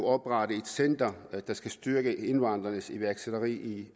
oprettet et center der skal styrke indvandrernes iværksætteri